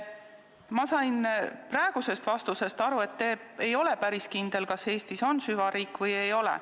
Ma sain praegu vastusest aru, et te ei ole päris kindel, kas Eestis on süvariik või ei ole.